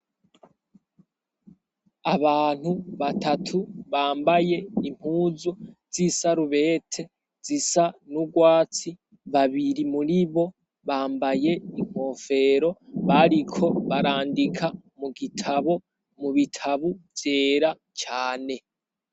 Abantu batatu bambaye impuzu z'isarubete zisa n'urwatsi, babiri muri bo bambaye inkofero, bariko barandika mu gitabo mu bitabu vyera cane.